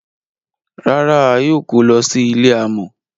Rárá, a yóò kọ̀ lọ sí ilẹ̀ àmọ.